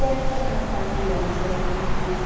O que a senhora fazia na sua juventude?